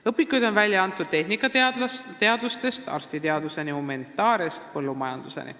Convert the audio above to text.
Valdkonnad on olnud tehnikateadustest arstiteaduseni, humanitaariast põllumajanduseni.